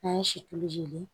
N'an ye si tulu jeni